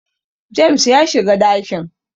James ya shiga dakin